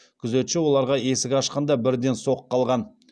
күзетші оларға есік ашқанда бірден соққы алған